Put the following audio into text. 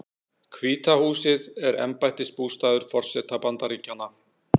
Hvíta húsið er embættisbústaður forseta Bandaríkjanna.